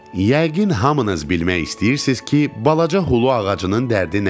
Yəqin hamınız bilmək istəyirsiz ki, balaca xulu ağacının dərdi nə imiş.